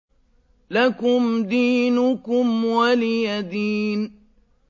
لَكُمْ دِينُكُمْ وَلِيَ دِينِ